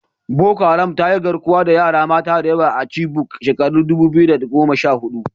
Boko Haram ta yi garkuwa da yara mata da yawa a Chibok a shekarar dubu biyu da goma sha hudu.